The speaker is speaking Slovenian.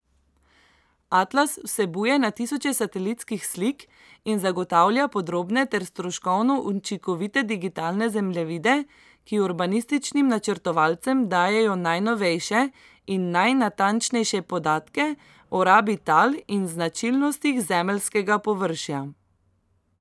Atlas vsebuje na tisoče satelitskih slik in zagotavlja podrobne ter stroškovno učinkovite digitalne zemljevide, ki urbanističnim načrtovalcem dajejo najnovejše in najnatančnejše podatke o rabi tal in značilnostih zemeljskega površja.